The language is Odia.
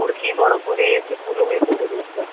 ମୁଡକି ବ୍ରହ୍ମପୁରି ଚିକୁଲୁ ଏଇ ସବୁ ଜିନିଷ